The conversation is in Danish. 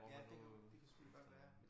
Ja det kunne det kunne selvfølgelig godt være